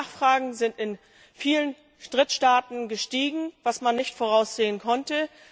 Die Nachfrage ist in vielen Drittstaaten gestiegen, was man nicht voraussehen konnte.